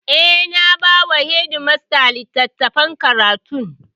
Eh, na ba wa shedimasta littafin karatun